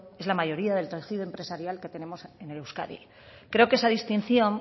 es la mayoría del tejido empresarial que tenemos en euskadi creo que esa distinción